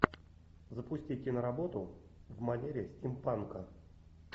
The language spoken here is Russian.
запусти киноработу в манере стимпанка